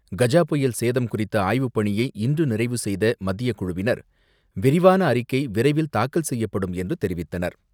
கஜா புயல் சேதம் குறித்த ஆய்வுப்பணியை இன்று நிறைவு செய்த மத்தியக்குழுவினர் விரிவான அறிக்கை விரைவில் தாக்கல் செய்யப்படும் என்று தெரிவித்தனர்.